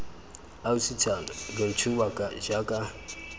ausi thando lo ntshuba jaaka